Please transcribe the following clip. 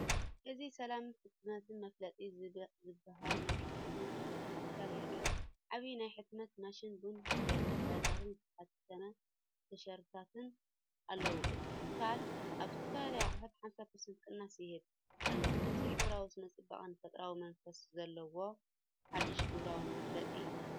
እዚ“ሰላም ሕትመትን መፋለጢ”ዝበሃል ናይ ሕትመትን መፋለጢ ትካል የርኢ። ዓቢ ናይ ሕትመት ማሽን ቡን ኩባያታትን ዝተሓትመ ቲሸርትታትን ኣለዎ። እቲ ትካል ኣብ ዝተፈላለዩ ኣቑሑት 50% ቅናስ ይህብ ኣሎ። እዚ ሕብራዊ ስነ-ጽባቐን ፈጠራዊ መንፈስን ዘለዎ ሓድሽን ግብራውን መፋለጢ እዩ።